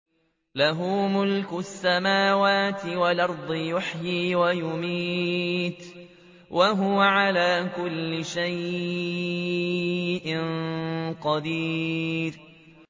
لَهُ مُلْكُ السَّمَاوَاتِ وَالْأَرْضِ ۖ يُحْيِي وَيُمِيتُ ۖ وَهُوَ عَلَىٰ كُلِّ شَيْءٍ قَدِيرٌ